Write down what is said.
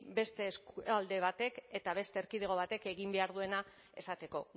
beste alde batek eta beste erkidego batek egin behar duena esateko